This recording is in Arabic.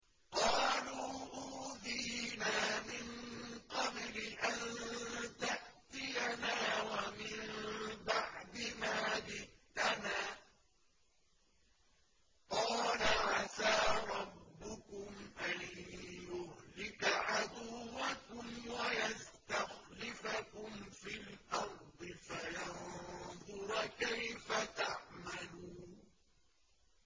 قَالُوا أُوذِينَا مِن قَبْلِ أَن تَأْتِيَنَا وَمِن بَعْدِ مَا جِئْتَنَا ۚ قَالَ عَسَىٰ رَبُّكُمْ أَن يُهْلِكَ عَدُوَّكُمْ وَيَسْتَخْلِفَكُمْ فِي الْأَرْضِ فَيَنظُرَ كَيْفَ تَعْمَلُونَ